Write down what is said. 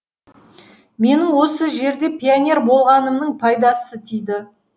менің осы жерде пионер болғанымның пайдасы тиді